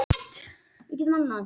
Salome, hvar er dótið mitt?